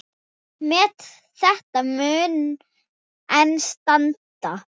Met þetta mun enn standa.